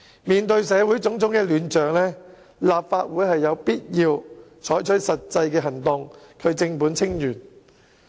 面對社會種種亂象，立法會有必要採取實際行動，正本清源。